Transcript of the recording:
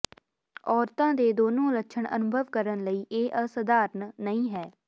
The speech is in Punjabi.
ਔਰਤਾਂ ਦੇ ਦੋਨੋ ਲੱਛਣ ਅਨੁਭਵ ਕਰਨ ਲਈ ਇਹ ਅਸਧਾਰਨ ਨਹੀਂ ਹੈ